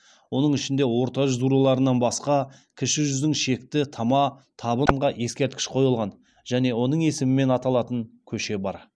оның ішінде орта жүз руларынан басқа кіші жүздің шекті тама табынға ескерткіш қойылған және оның есімімен аталатың көше бар